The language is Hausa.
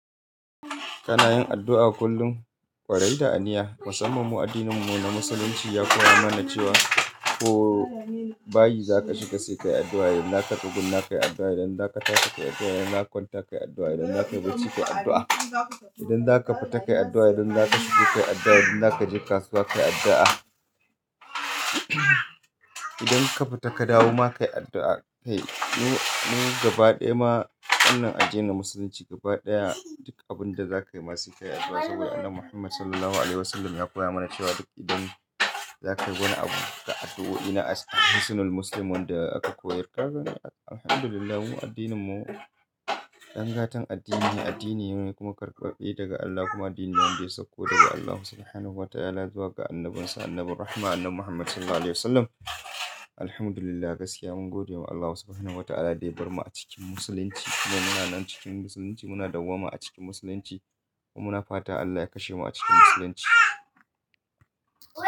Kana yin addu'a kullum, ƙwarai da aniya. Musamman mu addininmu na Musulunci ya koya mana cewa ko bayi zaka shiga sai ka yi addu'a, idan zaka tsugunna kai addu'a, idan zaka tashi ka yi addu'a, idan zaka kwanta ka yi addu'a, idan zaka yi bacci ka yi addu'a, idan zaka fita ka yi addu'a, idan zaka shiga ka yi addu'a, idan zaka je kasuwa ka yi addu'a. Idan ka fita ka dawo ma ka yi addu'a. Kai, mu gaba ɗaya ma wannan addinin na Musulunci gaba ɗaya duk abin da zaka yi ma sai kayi addu'a sabida Annabi Muhammad Sallallahu Alaihi Wasallam ya koya mana cewa duk idan zaka yi wani abu, ga addu'o'i nan na hisnul muslim wanda aka koyar, kaga alhamdulillahi mu addininmu, dan gatan addini ne, addini ne kuma karɓaɓɓe daga Allah kuma addini ne wanda ya sauko daga Allah Subhanahu wa Ta'ala zuwa ga Annabinsa, Annabin Rahma Annabi Muhammad Sallallahu Alaihi Wasallam. Alhamdulillah gaskiya mun godewa Allah Subhanahu wa Ta'ala da ya bar mu a cikin Musulunci kuma muna nan cikin Musulunci, muna dawwama a cikin Musulunci kuma muna fata Allah ya kashe mu a cikin Musulunci.